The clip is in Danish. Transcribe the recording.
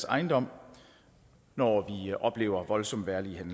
ejendom når vi oplever voldsomt vejrlig